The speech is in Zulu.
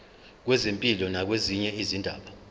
kwezempilo nakwezinye izindaba